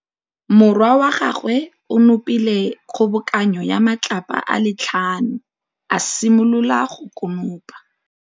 Morwa wa gagwe o nopile kgobokanô ya matlapa a le tlhano, a simolola go konopa.